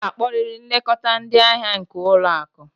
Ị ga-akpọrịrị nlekọta ndị ahịa nke ụlọ akụ!